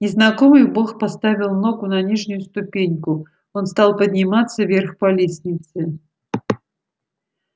незнакомый бог поставил ногу на нижнюю ступеньку он стал подниматься вверх по лестнице